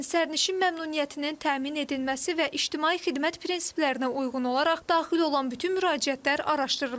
Lakin sərnişin məmnuniyyətinin təmin edilməsi və ictimai xidmət prinsiplərinə uyğun olaraq daxil olan bütün müraciətlər araşdırılır.